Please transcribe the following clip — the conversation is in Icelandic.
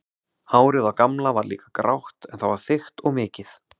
Hárið á Gamla var líka grátt en það var þykkt og mikið.